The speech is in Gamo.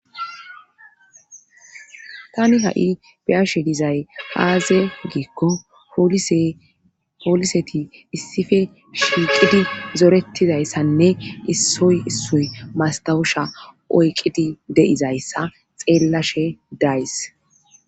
tani ha7i biyashe dizay haaze giikko hooliseti issife shiiqidi zorettizayssanne issoy issoy mastawusha oyqidi de7izayssa xeellashe days